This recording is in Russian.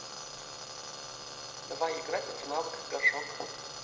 давай играть в навык горшок